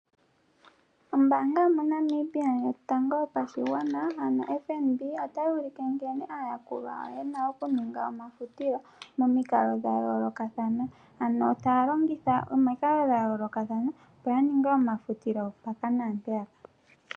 Ombaanga yomoNamibia Yotango yopashigwana ano FNB otayi ulike nkene aayakulwa yena okuninga kombinga yomafutilo momikalo dha yoolokathana, ano taya longitha omikalo dha yoolokathana opo yaninge omafutilo mpoka naa mpeyaka.